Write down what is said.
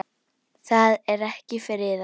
Það er ekki friðað.